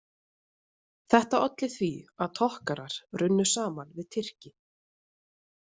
Þetta olli því að Tokkarar runnu saman við Tyrki.